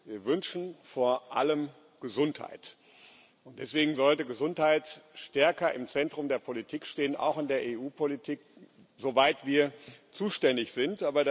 Wir wünschen vor allem Gesundheit. Deswegen sollte Gesundheit stärker im Zentrum der Politik stehen auch in der EU Politik, soweit wir zuständig sind.